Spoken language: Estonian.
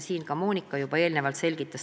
Seda Monika siin eelnevalt selgitas.